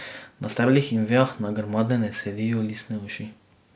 Na steblih in vejah nagrmadene sedijo listne uši.